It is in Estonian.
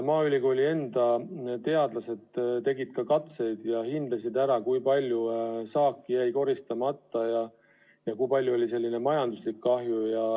Maaülikooli teadlased tegid katseid ja hindasid ära, kui palju saaki jäi koristamata ja kui suur oli majanduslik kahju.